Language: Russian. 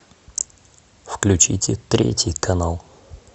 включите третий канал